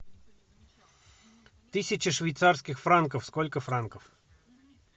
тысяча швейцарских франков сколько франков